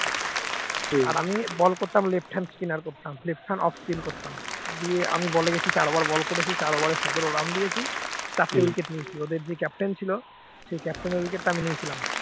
আমি ball করতাম left hand spinner করতাম left hand off spin করতাম দিয়ে আমি ball এ গেছি চার over ball করেছি চার over এ সতেরো run দিয়েছি চারটে wicket নিয়েছি ওদের যে captain ছিল সে captain wicket টা আমি নিয়েছিলাম।